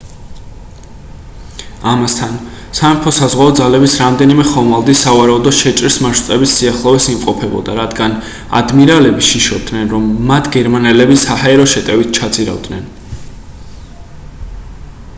ამასთან სამეფო საზღვაო ძალების რამდენიმე ხომალდი სავარაუდო შეჭრის მარშრუტების სიახლოვეს იმყოფებოდა რადგან ადმირალები შიშობდნენ რომ მათ გერმანელები საჰაერო შეტევით ჩაძირავდნენ